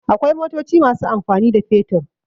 Akwai motoci masu amfani da fetur.